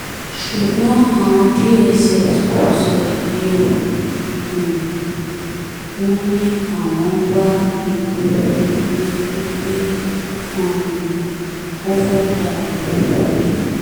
ṣùgbọ́n àwọn dss kò sọ èyí o um wọ́n ní àwọn ń wá ìgboro nítorí pé um ó fẹ́ẹ́ dàlú rú ni